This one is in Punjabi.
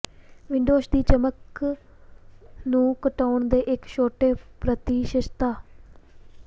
ਵਿੰਡੋਜ਼ ਦੀ ਚਮਕ ਨੂੰ ਘਟਾਉਣ ਦੇ ਇੱਕ ਛੋਟੇ ਪ੍ਰਤੀਸ਼ਤਤਾ